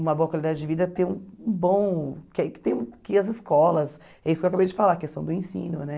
uma boa qualidade de vida, ter um bom... que que tem que as escolas, é isso que eu acabei de falar, a questão do ensino, né?